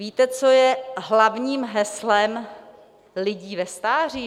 Víte, co je hlavním heslem lidí ve stáří?